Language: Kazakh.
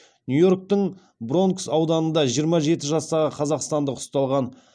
нью йорктің бронкс ауданында жиырма жеті жастағы қазақстандық ұсталған